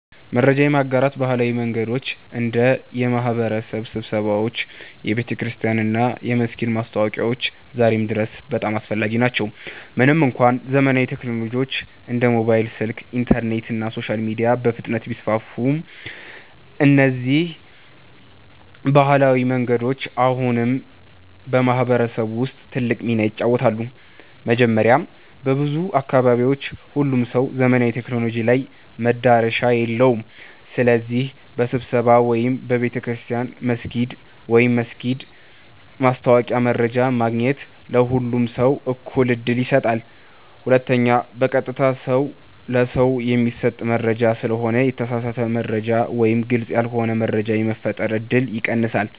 መረጃ የማጋራት ባህላዊ መንገዶች እንደ የማህበረሰብ ስብሰባዎች፣ የቤተክርስቲያን እና የመስጊድ ማስታወቂያዎች ዛሬም ድረስ በጣም አስፈላጊ ናቸው። ምንም እንኳ ዘመናዊ ቴክኖሎጂዎች እንደ ሞባይል ስልክ፣ ኢንተርኔት እና ሶሻል ሚዲያ በፍጥነት ቢስፋፉም፣ እነዚህ ባህላዊ መንገዶች አሁንም በማህበረሰብ ውስጥ ትልቅ ሚና ይጫወታሉ። መጀመሪያ፣ በብዙ አካባቢዎች ሁሉም ሰው ዘመናዊ ቴክኖሎጂ ላይ መዳረሻ የለውም። ስለዚህ በስብሰባ ወይም በቤተ ክርስቲያን/መስጊድ ማስታወቂያ መረጃ ማግኘት ለሁሉም ሰው እኩል ዕድል ይሰጣል። ሁለተኛ፣ በቀጥታ ሰው ለሰው የሚሰጥ መረጃ ስለሆነ የተሳሳተ መረጃ ወይም ግልጽ ያልሆነ መረጃ የመፈጠር እድል ይቀንሳል።